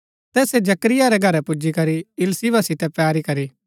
तैसै जकरिया रै घरै पुजीकरी इलीशिबा सितै पैरी करी